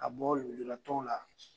A bɔ lujura tɔnw la.